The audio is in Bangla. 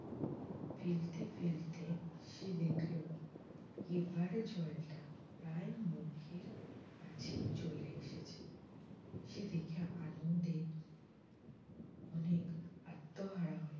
ফেলতে ফেলতে সে দেখল এবারে জলটা প্রায় মুখের কাছে চলে এসেছে। সে দেখে আনন্দে অনেক আত্মহারা হয়ে